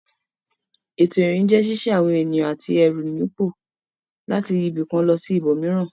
Ètò ìrìn jẹ́ ṣíṣí àwọn ènìyàn àti ẹrù nípò láti ibì kan lọ sí ibòmíràn.